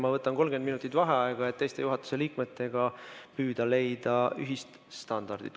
Ma võtan 30 minutit vaheaega, et püüda teiste juhatuse liikmetega leida ühist standardit.